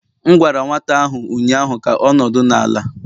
M gwara nwata ahụ ụnyaahụ ka ọ nọdụ n' ala!